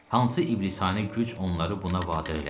Hansı iblisanə güc onları buna vadar elədi?